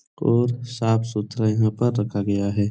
और साफ़-सुथरा यहाँ पर रखा गया है।